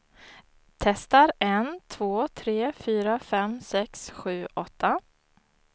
Testar en två tre fyra fem sex sju åtta.